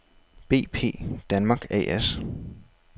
BP Danmark A/S